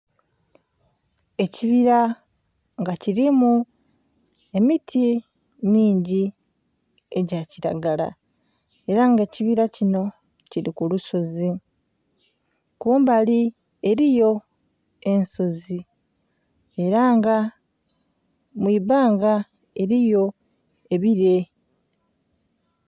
Ekibira nga kilimu emiti mingi egya kilagala era nga ekibira kinho kili ku olusozi, kumbali eriyo ensozi era nga mwibbanga eriyo ebilee.